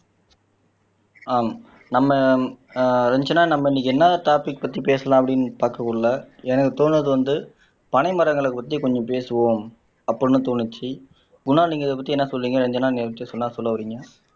ஆஹ் நம்ம ஆஹ் ரஞ்சனா நம்ம இன்னைக்கு என்ன டொபிக் பத்தி பேசலாம் அப்படின்னு பாக்கக்குள்ள எனக்கு தோணுனது வந்து பனை மரங்களை பத்தி கொஞ்சம் பேசுவோம் அப்படீன்னு தோணுச்சு குணால் நீங்க இதைப்பத்தி என்ன சொல்லுவீங்க ரட்சனா இதைப்பத்தி என்ன சொல்லவரீங்க